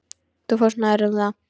Þú fórst nærri um það.